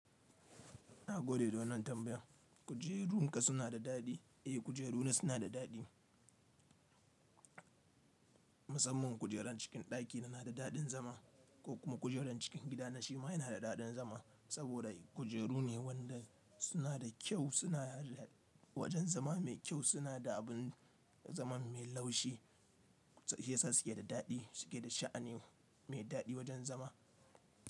Na gode don nan tambaya. Kujerun ka suna da daɗi? Eh kujeruna suna da daɗi. Musamman kujerar cikin ɗaki na na da daɗin zama ko kuma kujerar cikin gida na shi ma yana da daɗin zama saboda kujeru ne wanda suna da kyau suna wajen zama mai kyau suna da abun zaman mai laushi. Shiyasa suke da daɗi suke da sha'ani mai daɗi wajen zama.